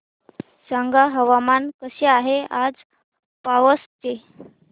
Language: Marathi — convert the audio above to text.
सांगा हवामान कसे आहे आज पावस चे